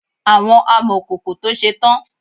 Àwọn amọkòkò to ṣe tán.